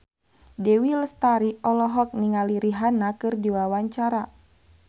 Dewi Lestari olohok ningali Rihanna keur diwawancara